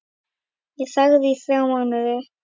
Ég þagði í þrjá mánuði.